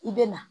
I bɛ na